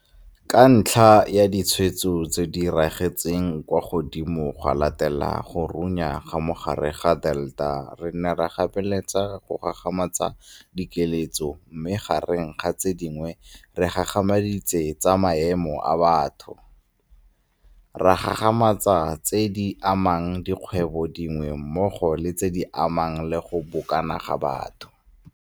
Ka ntlha ya ditshwaetso tse di ragetseng kwa godimo go latela go runya ga mogare wa Delta re ne ra gapeletsega go gagamatsa dikiletso mme gareng ga tse dingwe re gagamaditse tsa metsamao ya batho, ra gagamatsa tse di amang dikgwebong dingwe mmogo le tse di amanang le go bokana ga batho.